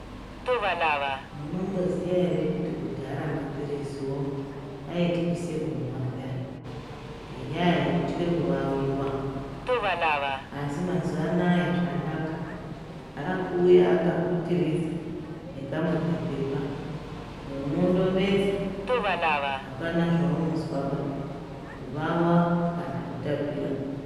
Munomboziya ere kuti kudhara maphiriziwo aityise kumwa peyani? Ngenyaya yekutye kuwawiwa asi mazuva anaya zvanaka, akuuya akaputiridza nekamwe kapepa, unondomedza. Hapana zveunozwaba, kuwawa kana kutapira.